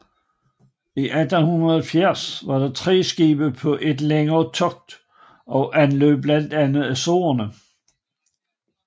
I 1870 var de tre skibe på et længere togt og anløb blandt andet Azorerne